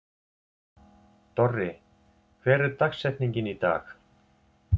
Dorri, hver er dagsetningin í dag?